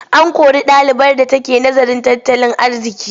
An kori ɗalibar da take nazarin tattalin arziƙi.